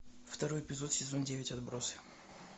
второй эпизод сезон девять отбросы